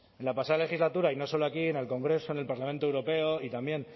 la pasada legislatura y no solo aquí en el congreso en el parlamento europeo y también